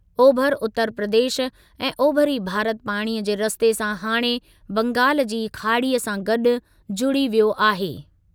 ओभिरी उतर प्रदेश ऐं ओभिरी भारत पाणीअ जे रस्ते सां हाणे बंगाल जी खाड़ीअ सां गॾु जुड़ी वियो आहे।